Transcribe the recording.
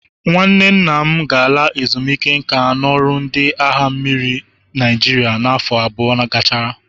Nwanne nna m ga-ala ezumike nka n'ọrụ ndị agha mmiri Naịjirịa n'afọ abụọ gachara.